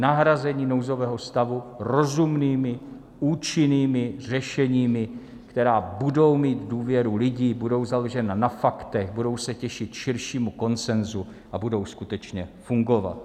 Nahrazení nouzového stavu rozumnými účinnými řešeními, která budou mít důvěru lidí, budou založena na faktech, budou se těšit širšímu konsenzu a budou skutečně fungovat.